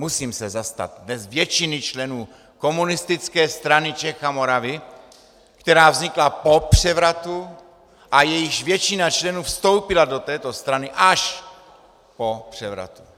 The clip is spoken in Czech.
Musím se zastat dnes většiny členů Komunistické strany Čech a Moravy, která vznikla po převratu a jejíž většina členů vstoupila do této strany až po převratu.